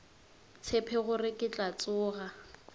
tshepe gore ke tla tsoga